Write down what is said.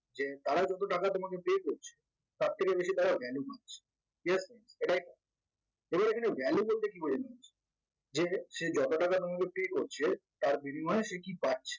তারা যত টাকা তোমাকে pay করছে তার থেকে বেশি তারা জ্ঞানী মানুষ ঠিক আছে এটাই কাজ এবার এখানে জ্ঞানী বলতে কি বোঝানো হয়েছে যে সেই যত টাকা তোমাকে pay করছে তার বিনিময়ে সে কি পাচ্ছে